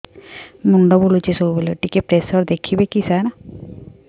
ମୁଣ୍ଡ ବୁଲୁଚି ସବୁବେଳେ ଟିକେ ପ୍ରେସର ଦେଖିବେ କି ସାର